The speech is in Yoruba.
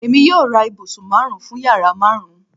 Emi yoo ra ibusun marun fun yara marun